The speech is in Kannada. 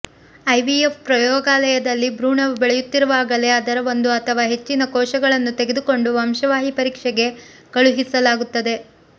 ಐವಿಎಫ್ ಪ್ರಯೋಗಾಲಯದಲ್ಲಿ ಭ್ರೂಣವು ಬೆಳೆಯುತ್ತಿರುವಾಗಲೇ ಅದರ ಒಂದು ಅಥವಾ ಹೆಚ್ಚಿನ ಕೋಶಗಳನ್ನು ತೆಗೆದುಕೊಂಡು ವಂಶವಾಹಿ ಪರೀಕ್ಷೆಗೆ ಕಳುಹಿಸಲಾಗುತ್ತದೆ